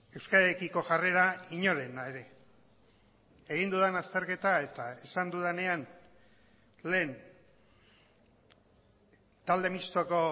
euskararekiko jarrera inorena ere egin dudan azterketa eta esan dudanean lehen talde mistoko